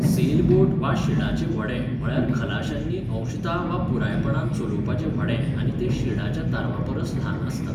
Sale boat वा शिडाचें व्हडें म्हळ्यार खलाश्यांनी अंशतः वा पुरायपणान चलोवपाचें व्हडें आनी तें शिडाच्या तारवापरस ल्हान आसता.